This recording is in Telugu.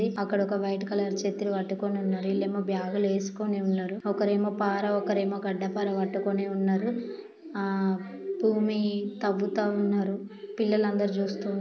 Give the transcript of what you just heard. అక్కడ ఒక వైట్ కలర్ చత్రి పట్టుకొని ఉన్నారు ఇల్లేమో బ్యాగులు ఏసుకొని ఉన్నారు ఒకరు ఏమో పారా ఒకరు ఏమో గడ్డపార పట్టుకొని ఉన్నారు ఆ భూమి తవ్వుతా ఉన్నారు పిల్లలు అందరూ చూస్తా--